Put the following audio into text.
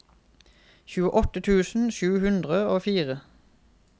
tjueåtte tusen sju hundre og fire